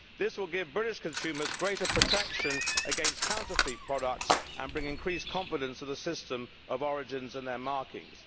This will give British consumers greater protection against counterfeit products and bring increased confidence to the system of origins and their markings.